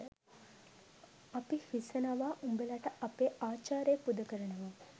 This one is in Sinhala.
අපි හිසනවා උබලට අපේ ආචාරය පුද කරනවා.